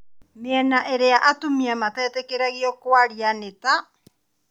Mĩena ĩrĩa atumia matetĩkagĩrio kwaria ni ta: